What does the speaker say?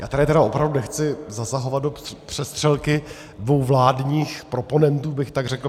Já tady tedy opravdu nechci zasahovat do přestřelky dvou vládních proponentů, bych tak řekl.